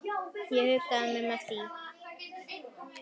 Ég huggaði mig með því.